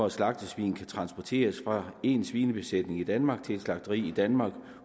at slagtesvin kan transporteres fra en svinebesætning i danmark til et slagteri i danmark